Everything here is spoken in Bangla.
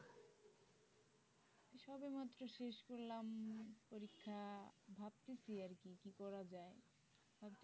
সবে মাত্র শেষ করলাম পরীক্ষা ভাবতেছি আর কি কি পড়া যায়?